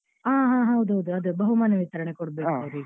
ಹಾ ಹಾ ಹೌದು ಹೌದು ಅದೇ ಬಹುಮಾನ ವಿತರಣೆ ಕೊಡ್ಬೇಕಲ್ಲ ಅವ್ರಿಗೆ.